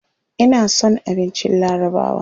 Ina son abincin larabawa.